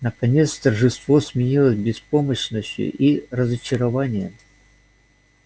наконец торжество сменилось беспомощностью и разочарованием